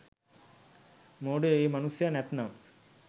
මෝඩයො ඒ මනුස්සයා නැත්නම්